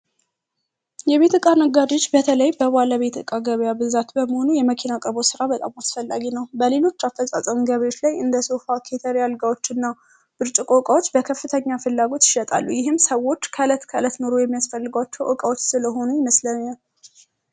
የቤት እቃ ነጋዴዎች በተለይ በባለቤት እቃ ገበያ ብዛት በመሆኑ የመኪና አቅርቦ ስራ በጣም አስፈላጊ ነው። በሌሎች አፈጻጸም አልጋዎች እና ብርጭቆዎች በከፍተኛ ፍላጎት ይሸጣሉ ይህም ሰዎች ኖሮ የሚያስፈልጓቸው ዕቃዎች ስለሆኑ ይመስለኛል